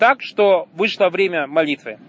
так что вышло время молитвы